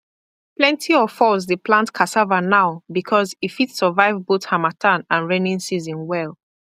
plenty of us dey plant cassava now because e fit survive both harmattan and raining season well